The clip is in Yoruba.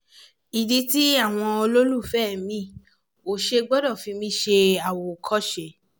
ìdí tí àwọn olólùfẹ́ mi ò ṣe gbọ́dọ̀ fi mí ṣe àwòkọ́ṣe